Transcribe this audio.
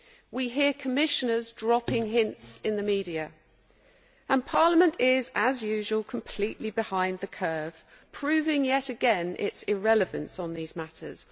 We hear Commissioners dropping hints in the media and Parliament is, as usual, completely behind the curve, proving yet again its irrelevance in these matters.